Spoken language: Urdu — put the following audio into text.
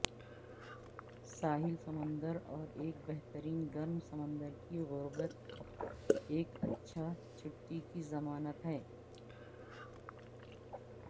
ساحل سمندر اور ایک بہترین گرم سمندر کی قربت ایک اچھا چھٹی کی ضمانت ہے